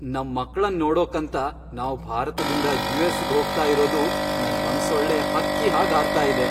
ನಮ್ ಮಕ್ಳನ್ ನೋಡೋಕ್ಕಂತ ನಾವ್ ಭಾರತ್ದಿಂದ ಯು.ಎಸ್.ಗೆ ಹೋಗ್ತಾ ಇರೋದು ನನ್ ಮನ್ಸೊಳ್ಳೆ ಹಕ್ಕಿ ಹಾಗ್ ಹಾರ್ತಾ ಇದೆ.